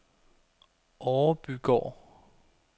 Orebygård